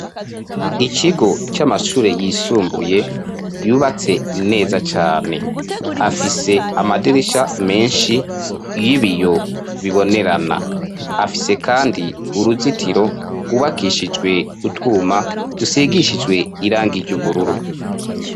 Ikigo c'amashure yisumbuye, yubatse neza cane ,afise amadirisha menshi y'ibiyo bibonerana ,afise kandi uruzitiro rwubakishijwe utwuma dusigishijwe irangiye ry'ubururu.